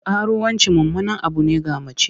Karuwanci mummunan abu ne ga mace.